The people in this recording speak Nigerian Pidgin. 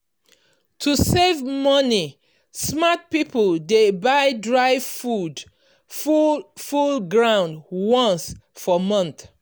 to save money smart people dey buy dry food full full ground once for month.